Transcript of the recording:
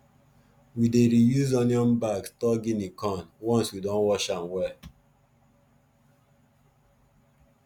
we dey reuse onion bag store guinea corn once we don wash am well